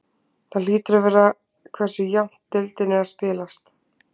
Það hlýtur að vera hversu jafnt deildin er að spilast.